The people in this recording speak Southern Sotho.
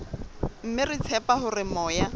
mme re tshepa hore moya